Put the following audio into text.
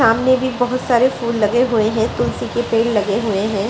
सामने भी बहोत सारे फूल लगे हुए हैं। तुलसी के पेड़ लगे हुए हैं।